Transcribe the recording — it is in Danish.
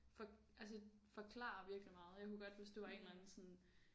For altså forklarer virkelig meget jeg kunne godt hvis det var en eller anden sådan